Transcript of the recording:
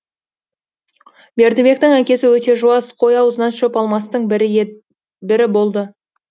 бердібектің әкесі өте жуас қой аузынан шөп алмастың бірі болды